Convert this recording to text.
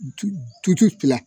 N tu tutu fiya